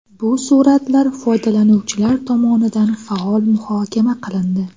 Bu suratlar foydalanuvchilar tomonidan faol muhokama qilindi.